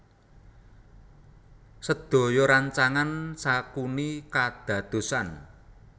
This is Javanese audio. Sedaya rancangan Sakuni kadadosan